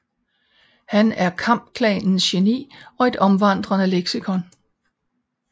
Han er kampklanens geni og et omvandrende leksikon